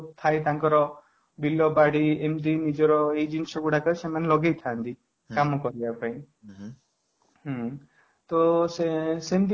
ଯୋଉ ଥାଏ ତାଙ୍କର ବିଲ ବାଡ଼ି ଏମିତି ନିଜର ଏଇ ଜିନିଷ ଗୁଡ଼ାକ ସେମାନେ ଲଗେଇଥାନ୍ତି overlap କାମ କରିବା ପାଇଁ ହୁଁ ତ ସେମିତି